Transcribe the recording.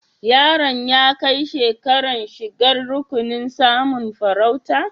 Yaron ya kai shekaran shigan rukunin masun farauta?